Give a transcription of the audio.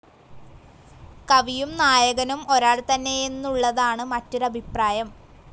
കവിയും നായകനും ഒരാൾ തന്നെയെന്നുള്ളതാണ് മറ്റൊരു അഭിപ്രായം.